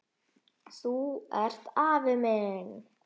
Þú ert afi minn!